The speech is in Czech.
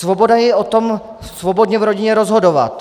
Svoboda je o tom svobodně v rodině rozhodovat.